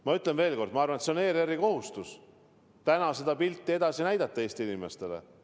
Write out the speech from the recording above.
Ma ütlen veel kord: ma arvan, et on ERR‑i kohustus seda pilti Eesti inimestele edasi näidata.